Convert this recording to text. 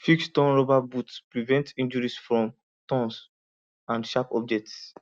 fix torn rubber boots prevent injuries from thorns and sharp objects